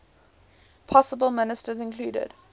possible ministers included